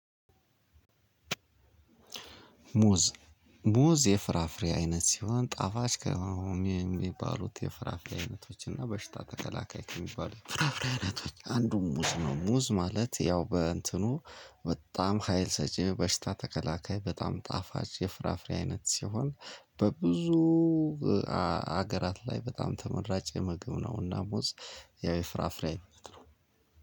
ሙዝ ሙዝ የፍራፍሬ አይነት ሲሆን ጣፋጭ ከሆኑ ከሚባሉት የፍራፍሬ አይነቶች እና በሽታ ተከላካይ ከሚባሉት ፍራፍሬ አይነቶች አንዱ ሙዝ ነው። ሙዝ ማለት ያው በእንትኑ በጣም ሀይል ሰጪ በሽታ ተከላካይ በጣም ጣፋጭ የፍራፍሬ አይነት ሲሆን። በብዙ ሀገራት ላይ በጣም ተመራጭ የምግብ ነውና ሙዝ። ያው የፍራፍሬ አይነት ነው።